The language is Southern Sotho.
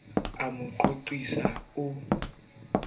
o a mo qoqisa o